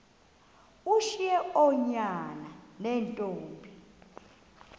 ushiye oonyana neentombi